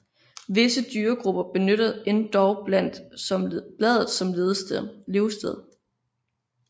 Visse dyregrupper benytter endog bladet som levested